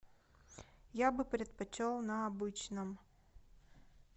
я бы предпочел на обычном